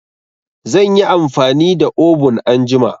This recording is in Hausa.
Zan yi amfani da obun anjima.